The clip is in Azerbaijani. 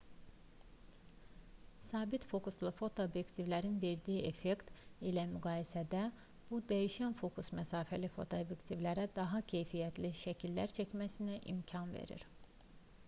sabit fokuslu fotoobyektivlərin verdiyi effekt ilə müqayisədə bu dəyişən fokus məsafəli fotoobyektivlərə daha keyfiyyətli şəkillər çəkməsinə imkan verir